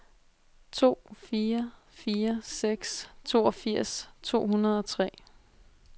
to fire fire seks toogfirs to hundrede og tre